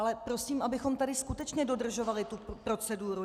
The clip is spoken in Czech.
Ale prosím, abychom tady skutečně dodržovali tu proceduru.